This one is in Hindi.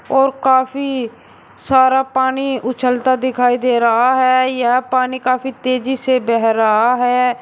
और काफी सारा पानी उछलता दिखाई दे रहा है यह पानी काफी तेजी से बह रहा है।